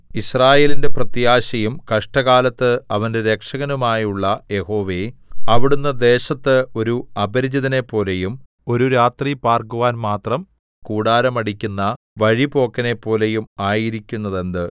യിസ്രായേലിന്റെ പ്രത്യാശയും കഷ്ടകാലത്ത് അവന്റെ രക്ഷകനുമായുള്ള യഹോവേ അവിടുന്ന് ദേശത്ത് ഒരു അപരിചിതനെപ്പോലെയും ഒരു രാത്രി പാർക്കുവാൻ മാത്രം കൂടാരം അടിക്കുന്ന വഴിപോക്കനെപ്പോലെയും ആയിരിക്കുന്നതെന്ത്